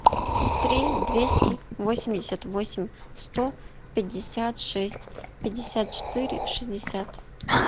три двести восемьдесят восемь сто пятьдесят шесть пятьдесят четыре шестьдесят